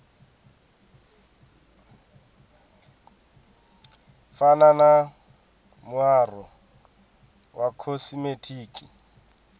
fana na muaro wa khosimetiki